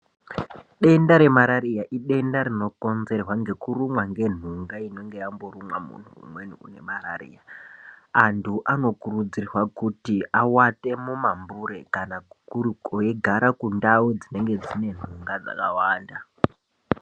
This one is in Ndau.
Denda re marariya idenda rino konzerwa ngeku rumwa nge nhunga inenge yambo rumwa munhu umweni une marariya antu ano kurudzirwa kuti awate mumambure kana weyi gara kundau dzinenge dzine nhunga dzakawanda.